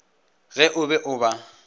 ge o be o ba